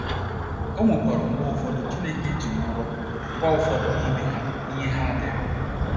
O nwekwara mgbe ụfọdụ Chineke ji nrọ gwa ụfọdụ n’ime ha ihe ha dere.